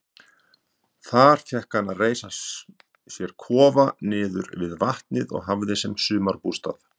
Þar fékk hann að reisa sér kofa niðri við vatnið og hafði sem sumarbústað.